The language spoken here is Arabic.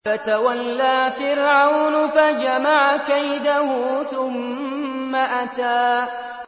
فَتَوَلَّىٰ فِرْعَوْنُ فَجَمَعَ كَيْدَهُ ثُمَّ أَتَىٰ